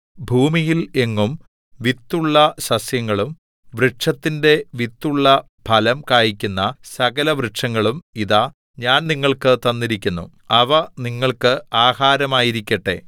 ഭൂമിയിൽ എങ്ങും വിത്തുള്ള സസ്യങ്ങളും വൃക്ഷത്തിന്റെ വിത്തുള്ള ഫലം കായിക്കുന്ന സകലവൃക്ഷങ്ങളും ഇതാ ഞാൻ നിങ്ങൾക്ക് തന്നിരിക്കുന്നു അവ നിങ്ങൾക്ക് ആഹാരമായിരിക്കട്ടെ